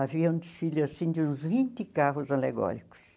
Havia um desfile assim de uns vinte carros alegóricos.